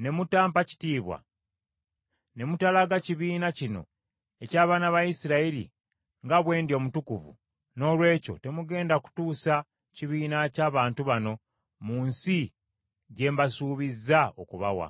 ne mutampa kitiibwa, ne mutalaga kibiina kino eky’abaana ba Isirayiri nga bwe ndi omutukuvu, noolwekyo temugenda kutuusa kibiina ky’abantu bano mu nsi gye mbasuubizza okubawa.”